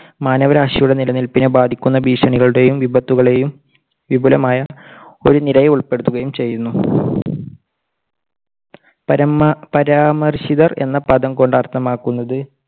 മാനവരാശിയുടെ നിലനിൽപ്പിനെ ബാധിക്കുന്ന ഭീഷണികളുടെയും വിപത്തുകളെയും വിപുലമായ ഒരു നിരയെ ഉൾപ്പെടുത്തുകയും ചെയ്യുന്നു. പരമ~പരാമർശിതർ എന്ന പദം കൊണ്ട് അർത്ഥമാക്കുന്നത്